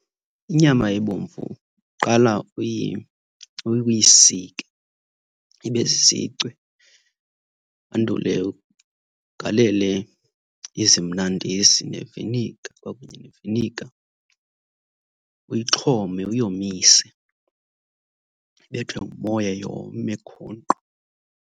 Inyama ebomvu uqala uyisike ibe zizicwe wandule ugalele izimnandisi neviniga kwakunye neviniga, uyixhome uyomise, ibethwe ngumoya yome khonkqo.